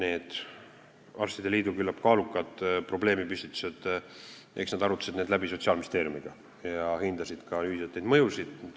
Eks haiglate liit oma küllap kaalukad probleemipüstitused arutas läbi Sotsiaalministeeriumiga ja nad hindasid ka ühiselt neid mõjusid.